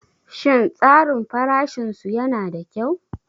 Shin tsarin farashin su yana da kyau?